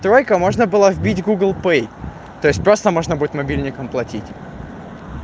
только можно было вбить гугл пэй то есть просто можно будет мобильником платить